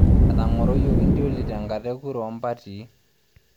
Etang'oroyioki ntioli tenkata e kura oo mpatii.